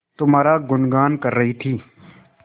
तुम्हारा गुनगान कर रही थी